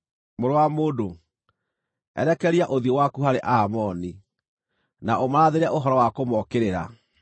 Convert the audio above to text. “Mũrũ wa mũndũ, erekeria ũthiũ waku harĩ Aamoni, na ũmarathĩre ũhoro wa kũmookĩrĩra.